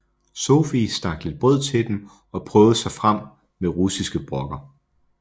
Sophie stak lidt brød til dem og prøvede sig frem med russiske brokker